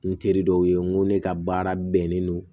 N teri dɔw ye n ko ne ka baara bɛnnen don